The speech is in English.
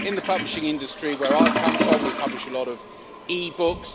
In the publishing industry where I come from, we publish a lot of e books.